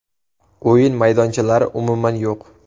O‘yin maydonchalari umuman yo‘q.